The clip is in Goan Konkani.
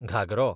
घागरो